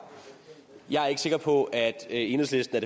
jeg er ikke sikker på at enhedslisten